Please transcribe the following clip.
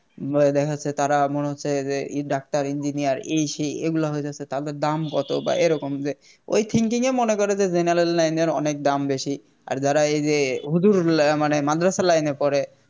বা দেখা যাচ্ছে তারা মনে হচ্ছে যে ডাক্তার Engineer এই সেই এগুলা হয়ে যাচ্ছে তাদের দাম কত বা এরকম যে ওই Thinking এর মনে করে যে General line এর অনেক দাম বেশি আর যারা এই যে হুজুর মানে মাদ্রাসা Line পড়ে